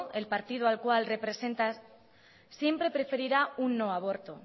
el partido al cual represento siempre preferirá un no aborto